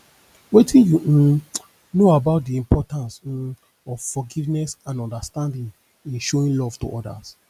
wetin you um know about di importance um of forgiveness and understanding in showing love to odas